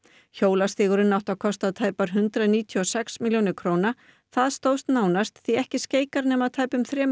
hjólastígurinn átti að kosta tæpar hundrað níutíu og sex milljónir króna það stóðst nánast því ekki skeikar nema tæpum þremur